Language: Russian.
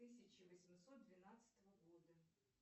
тысяча восемьсот двенадцатого года